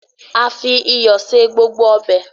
a fi iyọ ṣe gbogbo Ọbẹ̀.